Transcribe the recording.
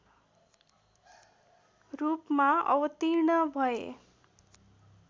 रूपमा अवतीर्ण भए